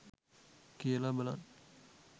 කියල බලන්න.